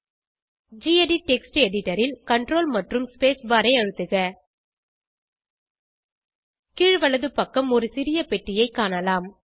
gedit text editor ல் CTRL மற்றும் space bar ஐ அழுத்துக கீழ் வலது பக்கம் ஒரு சிறிய பெட்டியைக் காணலாம்